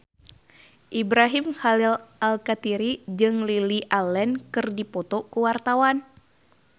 Ibrahim Khalil Alkatiri jeung Lily Allen keur dipoto ku wartawan